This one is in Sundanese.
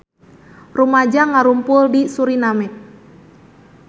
Rumaja ngarumpul di Suriname